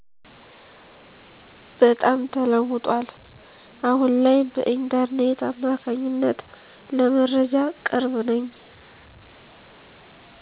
በጣም ተለውጧል አሁን ላይ በኢንተርኔት አማካኝነት ለመረጃ ቅርብ ነኝ።